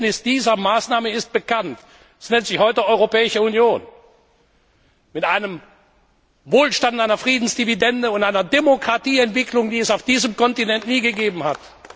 Das Ergebnis dieser Maßnahme ist bekannt Es nennt sich heute Europäische Union, mit einem Wohlstand, einer Friedensdividende und einer Demokratieentwicklung, die es auf diesem Kontinent nie gegeben hat.